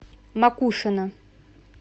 макушино